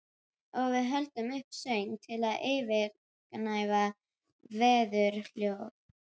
Og við höldum uppi söng til að yfirgnæfa veðurhljóð.